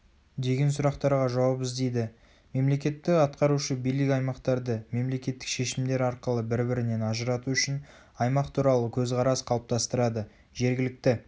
деген сұрақтарға жауап іздейді мемлекеттік атқарушы билік аймақтарды мемлекеттік шешімдер арқылы бір-бірінен ажырату үшін аймақ туралы көзқарас қалыптастырады жергілікті